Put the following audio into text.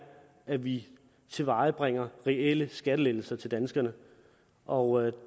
at vi tilvejebringer reelle skattelettelser til danskerne og